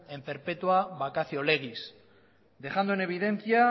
en perpetua vacacio legis dejando en evidencia